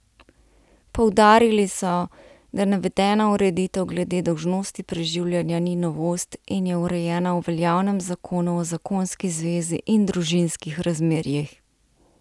Poudarili so, da navedena ureditev glede dolžnosti preživljanja ni novost in je urejena v veljavnem zakonu o zakonski zvezi in družinskih razmerjih.